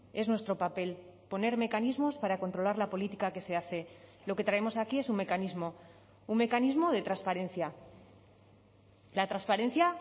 es nuestro papel poner mecanismos para controlar la política que se hace lo que traemos aquí es un mecanismo un mecanismo de transparencia la transparencia